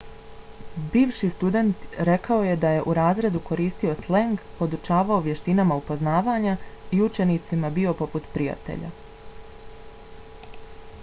bivši student rekao je da je u razredu koristio sleng podučavao vještinama upoznavanja i učenicima bio poput prijatelja.